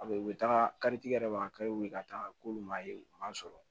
A bɛ u bɛ taga kari tigɛ de b'a ka taa k'olu ma ye u ma sɔrɔ